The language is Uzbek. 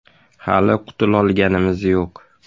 Hali qutulolganimiz yo‘q.